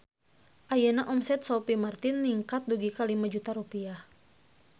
Ayeuna omset Sophie Martin ningkat dugi ka 5 juta rupiah